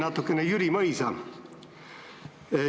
Ma tsiteerin Jüri Mõisa.